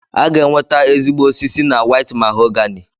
A ga-enweta ezigbote osisi na White mahogany